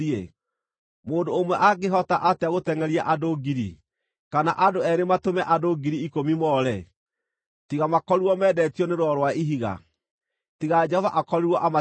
Mũndũ ũmwe angĩhota atĩa gũtengʼeria andũ ngiri, kana andũ eerĩ matũme andũ ngiri ikũmi moore, tiga makorirwo meendetio nĩ Rwaro rwa Ihiga, tiga Jehova akorirwo amatiganĩirie?